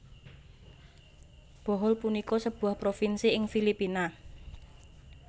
Bohol punika sebuah provinsi ing Filipina